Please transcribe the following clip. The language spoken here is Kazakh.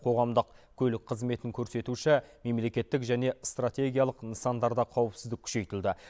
қоғамдық көлік қызметін көрсетуші мемлекеттік және стратегиялық нысандарда қауіпсіздік күшейтілді